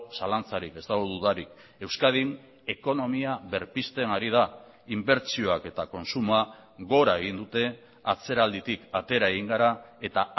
zalantzarik ez dago dudarik euskadin ekonomia berpizten ari da inbertsioak eta kontsumoa gora egin dute atzeralditik atera egin gara eta